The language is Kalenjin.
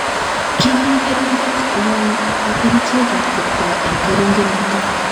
Kimii keringet ngwony ak kerichek ab kipkaa eng keringenoto